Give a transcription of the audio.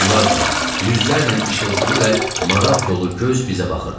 Onlardan yüzlərlə işıltılı və maraq dolu göz bizə baxırdı.